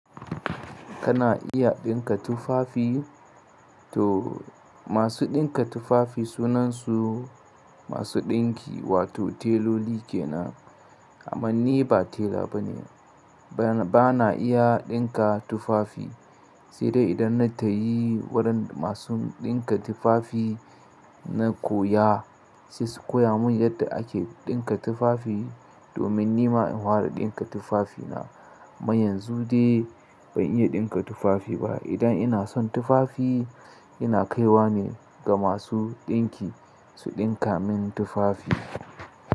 Kana iya ɗinka tufafi? To masu ɗinka tufafi sunansu masu ɗinki wato teloli kenan. Amma ni ba tela bane, bana iya ɗinka tufafi, sai dai idan na tayi wurin masu ɗinka tufafi na koya, sai su koya mun yadda ake ɗinka tufafi domin ni ma in fara ɗinka tufafi na. Amma yanzu dai ban iya ɗinka tufafi ba. Idan ina son tufafi ina kaiwa ne ga masu ɗinki su ɗinka min tufafi.